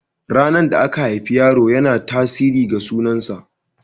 Ranar da aka haifi yaro yana tasirin ga sunan sa.